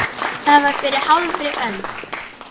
Þetta var fyrir hálfri öld.